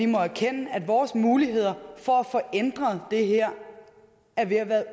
må erkende at vores muligheder for at få ændret det her er ved at være